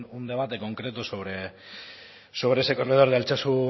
un debate concreto sobre ese corredor de altsasu